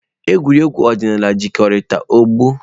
Egwuregwu ọdịnala jikọtara ọgbọ.